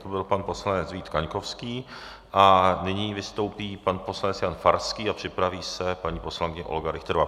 To byl pan poslanec Vít Kaňkovský a nyní vystoupí pan poslanec Jan Farský a připraví se paní poslankyně Olga Richterová.